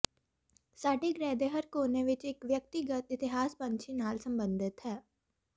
ਸਾਡੇ ਗ੍ਰਹਿ ਦੇ ਹਰ ਕੋਨੇ ਵਿੱਚ ਇੱਕ ਵਿਅਕਤੀਗਤ ਇਤਿਹਾਸ ਪੰਛੀ ਨਾਲ ਸਬੰਧਿਤ ਹੈ